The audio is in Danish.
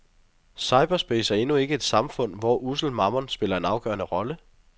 Cyberspace er endnu ikke samfund, hvor ussel mammon spiller en afgørende rolle.